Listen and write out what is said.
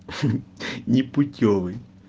непутёвый